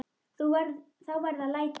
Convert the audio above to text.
Þá verða læti.